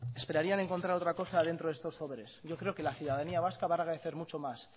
esperarían encontrar otra cosa dentro de estos sobres yo creo que la ciudadanía vasca va a agradecer mucho más